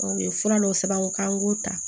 U ye fura dɔw sɛbɛn u k'an k'o ta